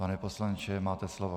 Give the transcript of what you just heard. Pan poslanče, máte slovo.